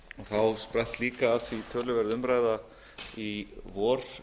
þá spratt líka af því töluverð umræða í vor